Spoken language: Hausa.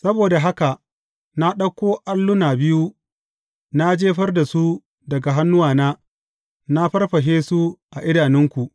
Saboda haka na ɗauko alluna biyun na jefar da su daga hannuwana, na farfashe su a idanunku.